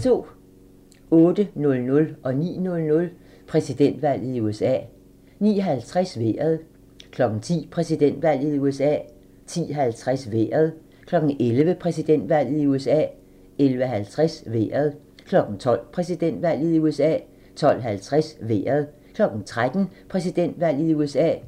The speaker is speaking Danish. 08:00: Præsidentvalget i USA 09:00: Præsidentvalget i USA 09:50: Vejret 10:00: Præsidentvalget i USA 10:50: Vejret 11:00: Præsidentvalget i USA 11:50: Vejret 12:00: Præsidentvalget i USA 12:50: Vejret 13:00: Præsidentvalget i USA